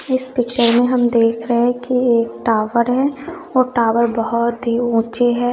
इस पिक्चर में हम देख रहे हैं कि एक टावर है और टावर बहुत ही ऊंचे है।